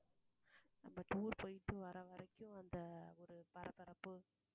நம்ம tour போயிட்டு வர வரைக்கும் அந்த ஒரு பரபரப்ப